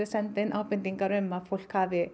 senda inn ábendingar um að fólk hafi